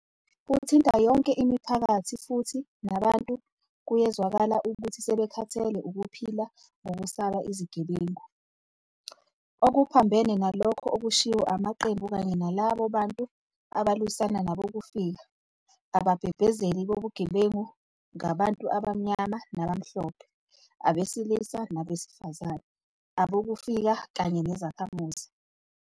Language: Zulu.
Buthinta yonke imiphakathi futhi nabantu kuyezwakala ukuthi sebekhathele ukuphila ngokusaba izigebengu. Okuphambene nalokho okushiwo amaqembu kanye nalabo bantu abalwisana nabokufika, ababhebhezeli bobugebengu ngabantu abamnyama nabamhlophe, abesilisa nabesifazane, abokufika kanye nezakhamuzi.